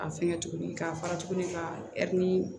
A fɛnkɛ tuguni k'a fara tuguni k'a